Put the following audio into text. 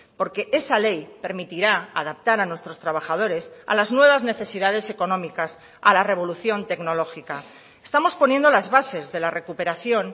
porque esa ley permitirá adaptar a nuestros trabajadores a las nuevas necesidades económicas a la revolución tecnológica estamos poniendo las bases de la recuperación